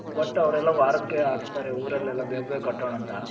but ಅವೆರೆಲ್ಲ ವಾರಕೆ ಹಾಕ್ತಾರೆ ಉರಲ್ಲಿ ಎಲ್ಲಾ ಬೇಗ ಬೇಗ ಕಟ್ಟೋಣ ಅಂತ